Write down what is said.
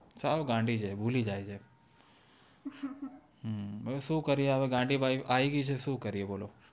સાવ ગાંડી છે ભૂલી જાય છે હમ શું કરીયે હવે ગાંડી બાય આવી ગય છે તો શું કરીયે બોલો